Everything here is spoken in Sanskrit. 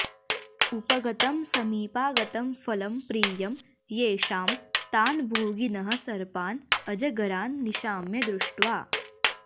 उपगतं समीपागतं फलं प्रियं येषां तान् भोगिनः सर्पान् अजगरान् निशाम्य दृष्ट्वा